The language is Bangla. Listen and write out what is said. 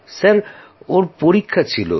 মহাশয় ওর পরীক্ষা ছিল